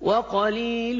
وَقَلِيلٌ